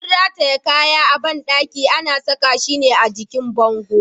Abun rataye kaya a bandaki ana saka shi ne a jikin bango.